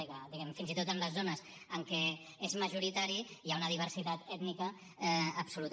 i clar diguem ne fins i tot en les zones en què és majoritari hi ha una diversitat ètnica absoluta